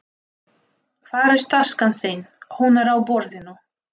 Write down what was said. Hvar er taskan þín. Hún er á borðinu